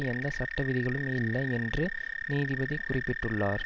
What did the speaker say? எந்த சட்ட விதிகளும் இல்லை என்று நீதிபதி குறிப்பிட்டுள்ளார்